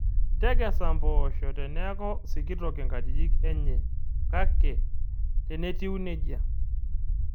Tekesa imboosho teneeku sikitok inkajijik eny kake tenetieu neija